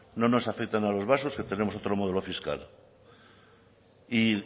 no nos afecta a los vascos que tenemos otro modelo fiscal y